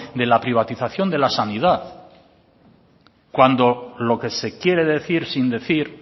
de la privatización de la sanidad cuando lo que se quiere decir sin decir